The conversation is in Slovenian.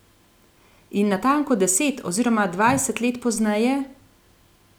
In natanko deset oziroma dvajset let pozneje?